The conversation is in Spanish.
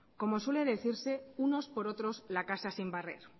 como suele decirse unos por otros la casa sin barrer